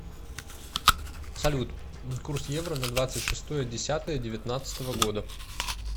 салют курс евро на двадцать шестое десятое девятнадцатого года